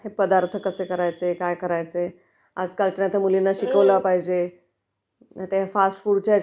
हे पदार्थ कसे करायचे....काय करायचे आजकालच्या तर मुलींना शिकवलं पाहिजे....नाहीतर ह्या फास्चफुडच्या ह्याच्यात